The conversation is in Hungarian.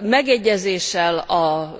Megegyezéssel a